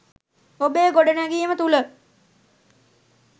ඔබේ ගොඩනැගීම තුළ